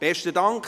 Besten Dank.